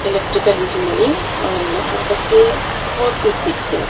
Electrical engineering और यहां बच्चे बहुत कुछ सीखते हैं।